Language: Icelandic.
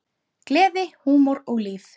Gleði, húmor og líf.